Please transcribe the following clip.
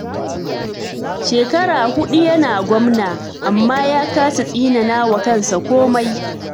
Shekara huɗu yana gwamna, amma ya kasa tsinana wa kansa komai.